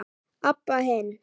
Abba hin.